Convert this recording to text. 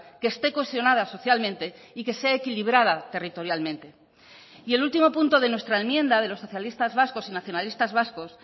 que esté cohesionada socialmente y que sea equilibrada territorialmente y el último punto de nuestra enmienda de los socialistas vascos y nacionalistas vascos